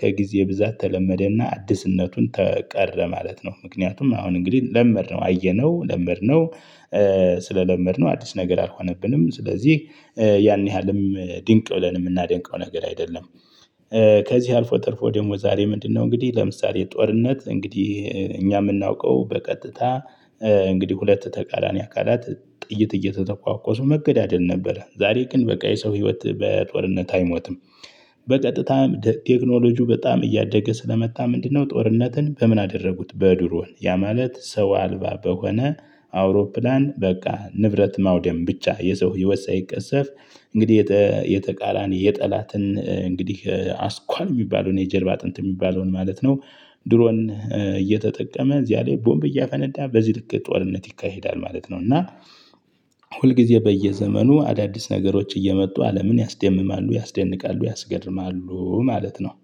ከጊዜ ብዛት ተለመደና አዲስነቱን ቀረ ማለት ነው። ምክንያቱም አሁን እንግዲህ ለመድነው አየነው ለመድነው ስለለመድነው አዲስ ነገር አልሆነብንም ስለዚህ ያን ያህልም ድንቅ ብለን የምናደንቀው ነገር አይደለም። ከዚህ አልፎ ተርፎ ደግሞ ዛሬ ምንድነው? እንግዲህ ለምሳሌ ጦርነት እንግዲህ እኛ የምናውቀው በቀጥታ እንግዲህ ሁለት ተቃራኒ አካላት ጥይት እየተተኳኮሱ መገዳደል ነበረ። ዛሬ ግን በቃ የሰው ህይወት በጦርነት አይሞትም። በቀጥታም ቴክኖሎጂው በጣም እያደገ ስለመጣ ምንድነው? ጦርነትን በምን አደረጉት በድሮን ያ ማለት ሰው አልባ በሆነ አውሮፕላን በቃ ንብረት ማውደም ብቻ የሰው ህይወት ሳይቀሰፍ እንግዲህ የተቃራኒ የጠላትን እንግዲህ አስኳል የሚባለውን የጀርባ አጥንት የሚባለውን ማለት ነው። ድሮን እየተጠቀመ እዚያ ላይ ቦምብ እያፈነዳ በዚህ ልክ ጦርነት ይካሄዳል ማለት ነው። እና ሁልጊዜ በየዘመኑ አዳዲስ ነገሮች እየመጡ አለምን ያስደምማሉ ያስደንቃሉ ያስገርማሉ ማለት ነው